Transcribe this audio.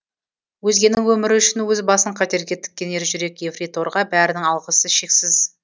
өзгенің өмірі үшін өз басын қатерге тіккен ержүрек ефрейторға бәрінің алғысы шексіз